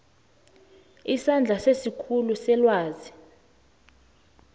isandla sesikhulu selwazi